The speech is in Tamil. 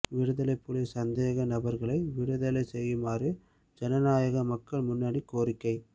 விடுதலைப் புலிச் சந்தேக நபர்களை விடுதலை செய்யுமாறு ஜனநாயக மக்கள் முன்னணி கோரிக்கை